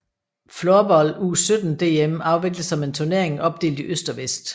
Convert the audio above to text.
Floorball U17 DM afvikles som en turnering opdelt i øst og vest